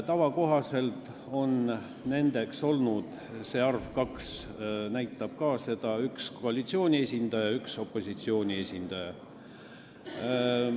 Tavakohaselt on nendeks olnud – see arv 2 näitab ka seda – üks koalitsiooni esindaja ja üks opositsiooni esindaja.